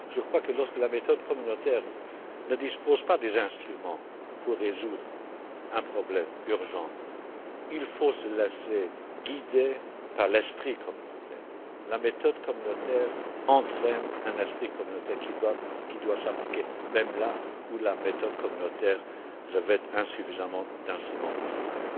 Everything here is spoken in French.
Je crois que, lorsque la méthode communautaire ne dispose pas des instruments pour résoudre un problème urgent, il faut se laisser guider par l'esprit communautaire. La méthode communautaire engendre un esprit communautaire qui doit s'appliquer même là où la méthode communautaire ne comporte pas suffisamment d'instruments de travail.